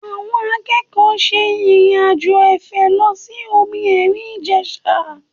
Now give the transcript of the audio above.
Àwọn akẹ́kọ̀ọ́ ṣe ìrìn-àjò afẹ́ lọ sí omi ẹ̀rìn Ìjẹ̀sà